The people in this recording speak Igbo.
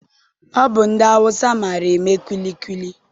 Ọ bụ ndị Awụsa maara ama kwilikwili.